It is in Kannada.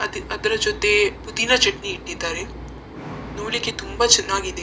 ಅದ್‌ ಅದ್ರ ಜೊತೆ ಪುದೀನ ಚಟ್ನಿ ಇಟ್ಟಿದ್ದಾರೆ ನೋಡ್ಲಿಕ್ಕೆ ತುಂಬ ಚೆನ್ನಾಗಿದೆ.